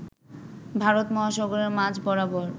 ভারত মহাসাগরের মাঝ বরাবর